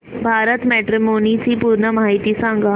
Bharat matrimony ची पूर्ण माहिती सांगा